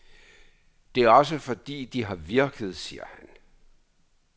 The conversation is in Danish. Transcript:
Det er også, fordi de har virket, siger han.